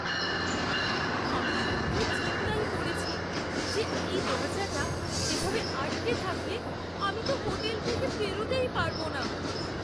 আমি সত্যিই চিন্তায় পড়েছি যে এই দরজাটা এভাবে আটকে থাকলে আমি তো হোটেল থেকে বেরোতেই পারব না।